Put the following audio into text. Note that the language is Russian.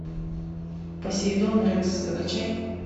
посейдон рекс закачай